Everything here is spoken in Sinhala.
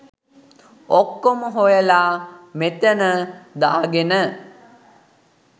ඔක්කොම හොයලා මෙතන දාගෙන